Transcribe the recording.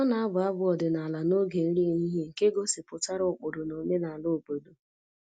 Ọ na-abụ abụ ọdịnala n'oge nri ehihie nke gosipụtara ụkpụrụ na omenala obodo